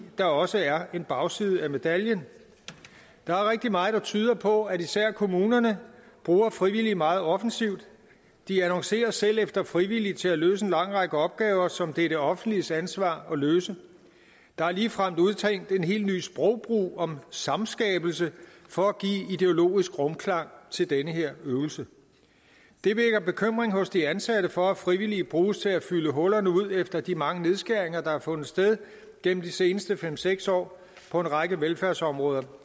der også er en bagside af medaljen der er rigtig meget der tyder på at især kommunerne bruger frivillige meget offensivt de annoncerer selv efter frivillige til at løse en lang række opgaver som det er det offentliges ansvar at løse der er ligefrem udtænkt en helt ny sprogbrug om samskabelse for at give ideologisk rumklang til den her øvelse det vækker bekymring hos de ansatte for at frivillige bruges til at fylde hullerne ud efter de mange nedskæringer der har fundet sted gennem de seneste fem seks år på en række velfærdsområder